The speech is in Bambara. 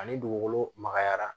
Ani dugukolo makayara